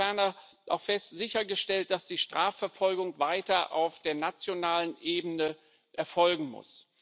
Ferner wird auch sichergestellt, dass die Strafverfolgung weiter auf der nationalen Ebene erfolgen muss.